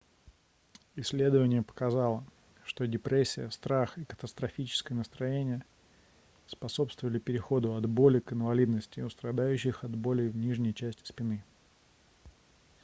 исследование показало что депрессия страх и катастрофические настроения способствовали переходу от боли к инвалидности у страдающих от болей в нижней части спины